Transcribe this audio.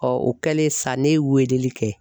o kɛlen sa ne ye weleli kɛ